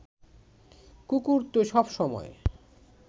কুকুর তো সব সময়